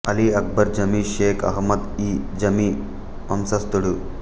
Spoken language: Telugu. అలి అక్బర్ జమీ షేక్ అహ్మద్ ఇ జమీ వంశస్థుడు